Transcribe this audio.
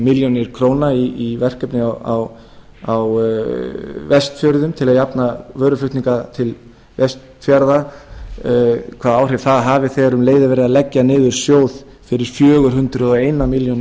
milljónir króna í verkefni á vestfjörðum til að jafna vöruflutninga til vestfjarða hvaða áhrif það hafi þegar um leið er verið að leggja niður sjóð fyrir fjögur hundruð og eina